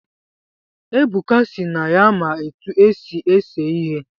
Ebuka sị na ya-ma etu esi ese ihe